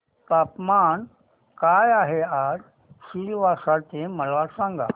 तापमान काय आहे आज सिलवासा चे मला सांगा